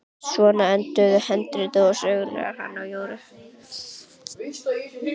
Svona endar handritið að sögunni um hana Jóru.